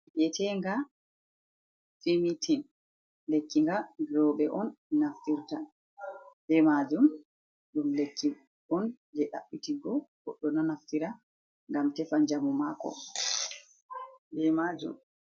Yetega fimitin, lekki nga roɓe on naftirta be majum, ɗum lekki on je ɗabbitigo goɗɗo ɗo naftira ngam tefa jamu mako, be majum.